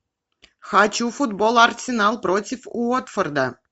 хочу футбол арсенал против уотфорда